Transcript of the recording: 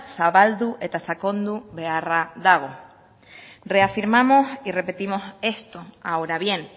zabaldu eta sakondu beharra dago reafirmamos y repetimos esto ahora bien